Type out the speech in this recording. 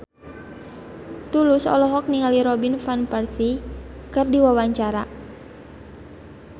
Tulus olohok ningali Robin Van Persie keur diwawancara